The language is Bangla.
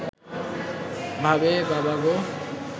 ভাবে বাবা গো